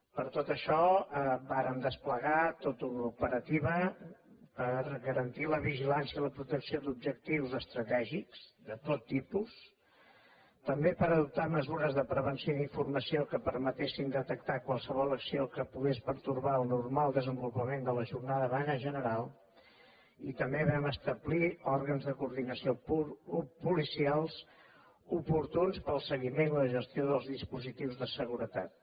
per tot això vàrem desplegar tota una operativa per garantir la vigilància i la protecció d’objectius estratègics de tot tipus també per adoptar mesures de prevenció i d’informació que permetessin detectar qualsevol acció que pogués pertorbar el normal desenvolupament de la jornada de vaga general i també vam establir òrgans de coordinació policials oportuns per al seguiment i la gestió dels dispositius de seguretat